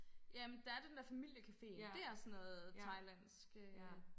Ja men der er den der familiecaféen det er sådan noget thailandsk øh